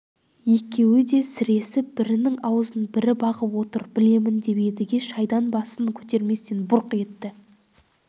екеуі де сіресіп бірінің аузын бірі бағып отыр білемін деп едіге шайдан басын көтерместен бұрқ етті